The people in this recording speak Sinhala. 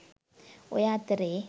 ඔය අතරේ